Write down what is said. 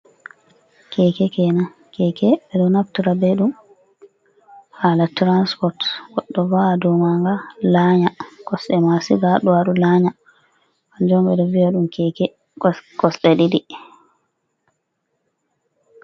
Keke kenan. Keke ɓe ɗo naftura be ɗum hala tirans pot, goɗɗo va’a dow maaga laanya, kosde ma siga haa ɗo ado laanya, kanjum on ɓe ɗo vi’a ɗum keke kosɗe ɗiɗi.